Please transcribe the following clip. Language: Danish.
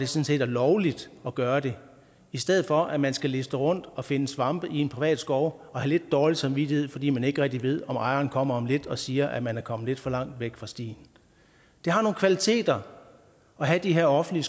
set er lovligt at gøre det i stedet for at man skal liste rundt og finde svampe i en privat skov og have lidt dårlig samvittighed fordi man ikke rigtig ved om ejeren kommer om lidt og siger at man er kommet lidt for langt væk fra stien det har nogle kvaliteter at have de her offentlige